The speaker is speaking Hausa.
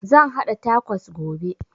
Zan haɗa takos gobe